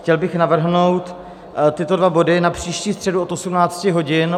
Chtěl bych navrhnout tyto dva body na příští středu od 18 hodin.